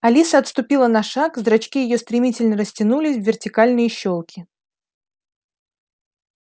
алиса отступила на шаг зрачки её стремительно растянулись в вертикальные щёлки